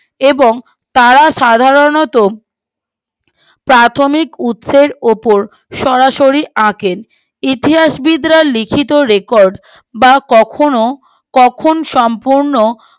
এবং তারা সাধারণতঃ প্রাথমিক উৎসের উপর সরাসরি আঁকেন ইতিহাসবিদরা লিখিত রেকর্ড বা কখনো কখন সম্পূর্ণ